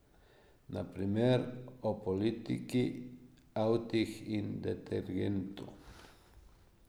Na primer o politiki, avtih in detergentu.